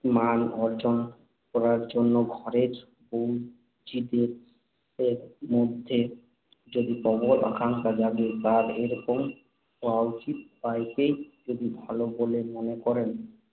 মান অর্জন করার জন্য ঘরের বৌ-ঝিদের মধ্যে যদি প্রবল আকাঙ্ক্ষা জাগে তাঁরা এইরকম হওয়া উচিত বা একেই যদি ভাল বলে মনে করেন।